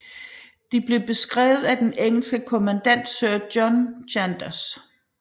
De blev beskrevet af den engelske kommandant sir John Chandos